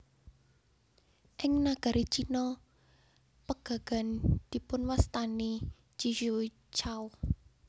Ing nagari Cina pegagan dipunwastani ji xue cao